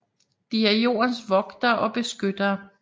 De er jordens vogtere og beskyttere